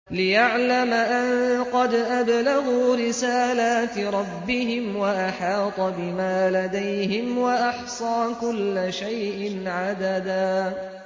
لِّيَعْلَمَ أَن قَدْ أَبْلَغُوا رِسَالَاتِ رَبِّهِمْ وَأَحَاطَ بِمَا لَدَيْهِمْ وَأَحْصَىٰ كُلَّ شَيْءٍ عَدَدًا